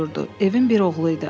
Evin bir oğlu idi.